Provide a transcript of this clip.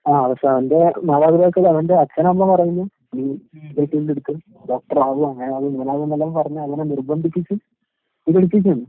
ആഹ് പക്ഷവന്റെ മാതാപിതാക്കള് അവന്റെ അച്ഛനമ്മ പറയുന്നു നീ എടുക്ക് ഡോക്റ്ററാവ് അങ്ങനാവ് ഇങ്ങനാവ്നെല്ലാം പറഞ്ഞ് അവനെ നിർബന്ധിപ്പിച്ച് ഇതെടുപ്പിച്ചേണ്.